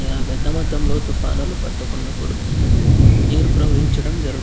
పెద్ద మొత్తంలో తుఫానులు పట్టుకున్నప్పుడు నీరు ప్రహవించడం జరుగు --